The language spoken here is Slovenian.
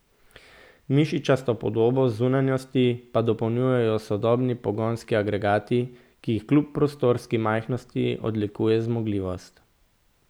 Mišičasto podobo zunanjosti pa dopolnjujejo sodobni pogonski agregati, ki jih kljub prostorninski majhnosti odlikuje zmogljivost.